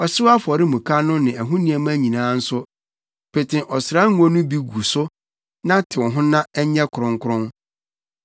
Ɔhyew afɔremuka no ne ɛho nneɛma nyinaa nso, pete ɔsra ngo no bi gu so na tew ho na ɛnyɛ kronkron.